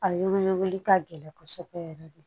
A wele wele ka gɛlɛn kɔsɔbɛ yɛrɛ de